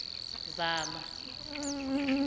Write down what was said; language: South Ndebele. zama